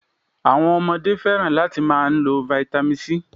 Àwọn Ọmọdé fẹ́ràn láti máa n lo vitamin C